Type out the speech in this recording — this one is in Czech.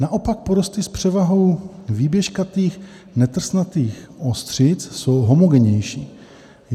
Naopak porosty s převahou výběžkatých netrsnatých ostřic jsou homogennější.